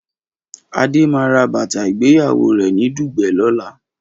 Adé máa ra bàtà ìgbéyàwó rẹ̀ ní Dùgbẹ̀ lọ́la.